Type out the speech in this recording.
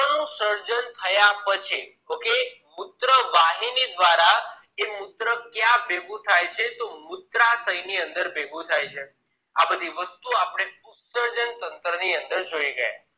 મુત્ર નું સર્જન થયા પછી okay મુત્ર વાહિની દ્વારા એ મુત્ર ક્યાં ભેગું થાય છે તો મુત્રાશય ની અંદર ભેગું થાય છે આ બધી વસ્તુઓ આપણે ઉત્ત્સર્જન તંત્ર ની અંદર જોઈ ગયા